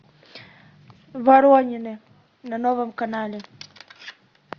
воронины на новом канале